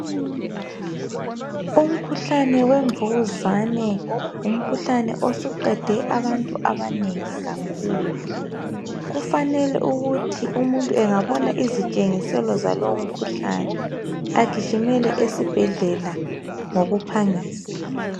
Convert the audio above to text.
Umkhuhlane wemvukuzane ngumkhuhlane suqede abantu abanengi kakhulu kufanele ukuthi umuntu engabona izitshengiselo zalowo mkhuhlane agijimele esibhedlela ngokuphangisa.